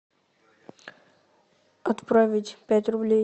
отправить пять рублей